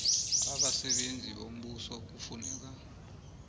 abasebenzi bombuso kufuneka